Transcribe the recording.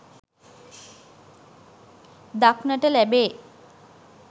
දක්නට ලැබේ.